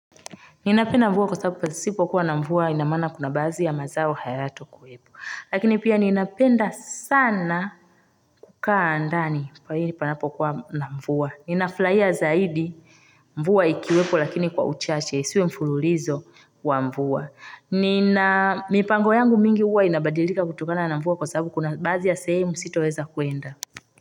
Ninapenda mvua kwa sababu pasipo kuwa na mvua ina maana kuna baadhi ya mazao hayato kuwepo. Lakini pia ninapenda, sana. Kukaa ndani kwa ajilii panapo kuwa na mvua. Nina furahia zaidi mvua ikiwepo lakini kwa uchache. Isiwe mfululizo, wa mvua. Nina. Mipango yangu mingi huwa inabadilika kutokana na mvua kwa sababu kuna baadhi ya sehemu sitoweza kuenda.